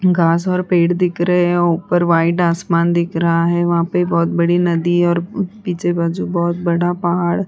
घांस और पेड़ दिख रहे हैं। ऊपर वाइट आसमान दिख रहा है। वहाँ पे बहोत बड़ी नदी और पीछे बाजु बहोत बड़ा पहाड़ --